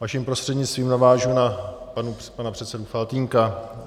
Vaším prostřednictvím navážu na pana předsedu Faltýnka.